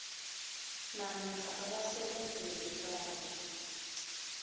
namkha abasebenzeli bayo